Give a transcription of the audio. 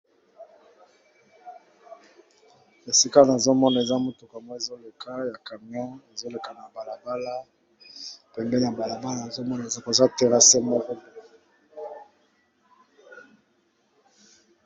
Esika nazo mona, eza motuka moko ezoleka ya camion, ezoleka na balabala. Pembeni ya balabala, nazo mona eza terase moko.